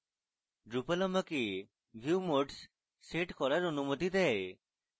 drupal আমাকে view modes set করার অনুমতি দেয়